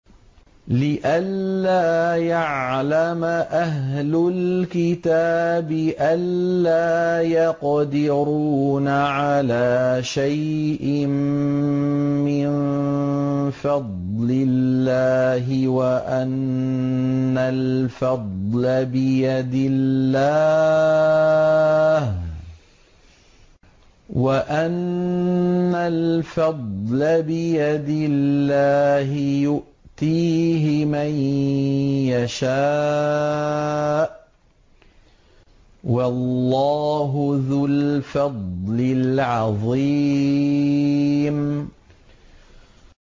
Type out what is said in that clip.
لِّئَلَّا يَعْلَمَ أَهْلُ الْكِتَابِ أَلَّا يَقْدِرُونَ عَلَىٰ شَيْءٍ مِّن فَضْلِ اللَّهِ ۙ وَأَنَّ الْفَضْلَ بِيَدِ اللَّهِ يُؤْتِيهِ مَن يَشَاءُ ۚ وَاللَّهُ ذُو الْفَضْلِ الْعَظِيمِ